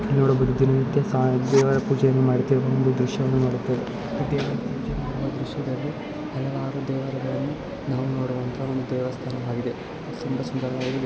ನೋಡಬಹುದು ದಿನನಿತ್ಯ ಸ ದೇವರ ಪೂಜೆಯನ್ನು ಮಾಡುತ್ತಿವ ಒಂದು ದೃಶ್ಯವನ್ನು ನೋಡುತ್ತೇವೆ ಪ್ರತಿಯೊಂದು ಪೂಜೆಗಳನ್ನು ಮಾಡುವ ದೃಶ್ಯದಲ್ಲಿ ಹಲವಾರು ದೇವರುಗಳನ್ನು ನಾವು ನೋಡುವಂತ ಒಂದು ದೇವಸ್ಥಾನವಾಗಿದೆ ತುಂಬಾ ಸುಂದರವಾಗಿದೆ.